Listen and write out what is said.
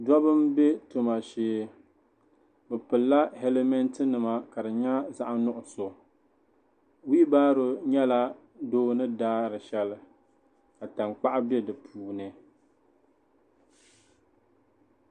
Dabba n bɛ tum shee bi pili la hɛlimɛnt nima ka di yɛ zaɣi nuɣiso webaro yɛla doo ni daari shɛli ka tankpaɣu bɛ di puuni.